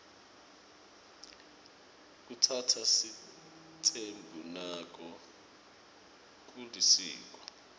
kutsatsa sitsembu nako kulisiko